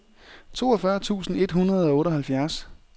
toogfyrre tusind et hundrede og otteoghalvfjerds